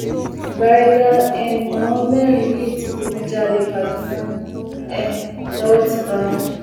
bárigà um làwọn mẹrin yìí ti digunjalè kaduna um lowó ti bá wọn